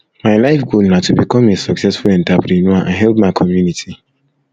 my life goal na to become a successful entrepreneur and help my community